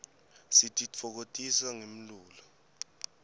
sititfokotisa ngemlulo